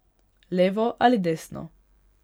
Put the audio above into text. Levo ali desno.